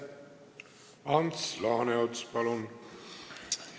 Ants Laaneots, palun!